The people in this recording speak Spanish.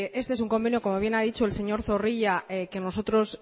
este es un convenio como bien ha dicho el señor zorrilla que nosotros